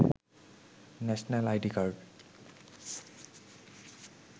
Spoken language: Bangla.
national ID card